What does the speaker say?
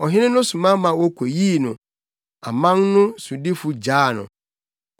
Ɔhene no soma ma wokoyii no; aman no sodifo gyaa no.